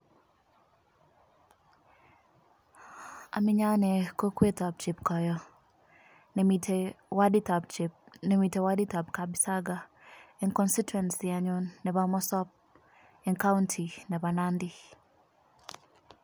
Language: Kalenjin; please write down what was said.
Omenye ane kokwet ab chepkoyo nimete wodit ab kapsaga en constituency nepo Mosop, en Kaunti nepo Nandi.